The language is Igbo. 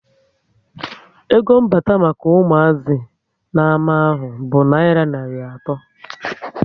Ego mbata maka umuazi na ama ahụ bụ nayira narị ato